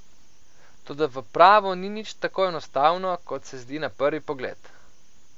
Toda v pravu ni nič tako enostavno, kot se zdi na prvi pogled.